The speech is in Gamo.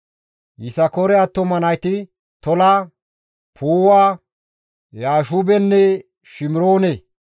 Yisakoore attuma nayti Tola, Puuwa, Yaashubenne Shimiroone.